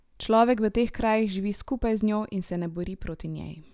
Človek v teh krajih živi skupaj z njo in se ne bori proti njej.